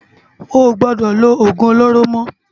Óo gbòdò ló ógún ólóró mò